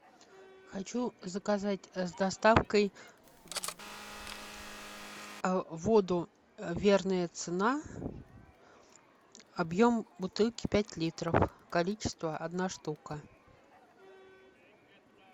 хочу заказать с доставкой воду верная цена объем бутылки пять литров количество одна штука